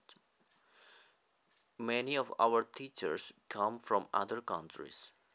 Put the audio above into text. Many of our teachers come from other countries